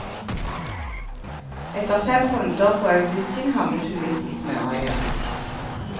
Etter fem runder på audition havnet hun midt i smørøyet.